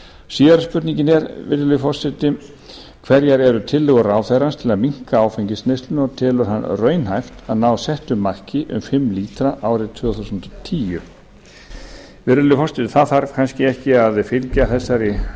síðari spurningin er virðulegi forseti annars hverjar eru tillögur ráðherrans til að minnka áfengisneysluna og telur hann raunhæft að ná settu marki um fimm lítra árið tvö þúsund og tíu virðulegi forseti það þarf kannski ekki að fylgja þessari